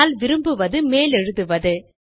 ஆனால் விரும்புவது மேலெழுதுவது